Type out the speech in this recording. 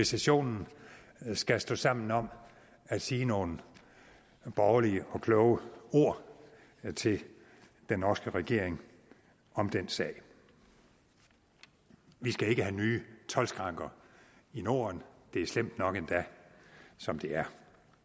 sessionen skal stå sammen om at sige nogle borgerlige og kloge ord til den norske regering om den sag vi skal ikke have nye toldskranker i norden det er slemt nok endda som det er